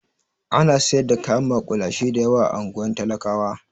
Alot of street food is being sold in the ghetto area